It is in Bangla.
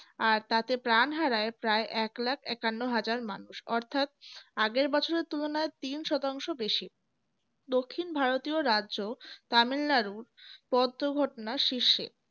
আর তাতে প্রাণ হারায় প্রায় এক lakh একান্ন হাজার মানুষ অর্থাৎ আগের বছরের তুলনায় তিন শতাংশ বেশি দক্ষিণ ভারতীয় রাজ্য তামিলনাড়ুর পদ্ম ঘটনা শীর্ষে